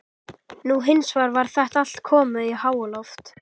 Nú hins vegar var þetta allt komið í háaloft.